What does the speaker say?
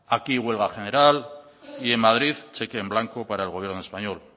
aquí huelga general y en madrid cheque en blanco para el gobierno español